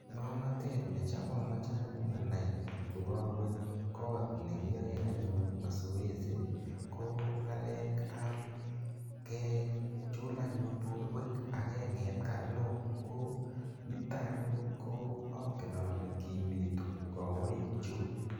ngomnotet nechamache anai kokawe kot negiae anyun masoesi ko ngalekap kechul anyun porwek akenget karnok ko nitak anyun angel ale kimitu anyun kawek chuk.